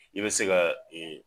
I bɛ se ka